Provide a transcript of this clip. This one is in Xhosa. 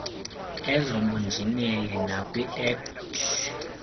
ezobunjineli nakwi ict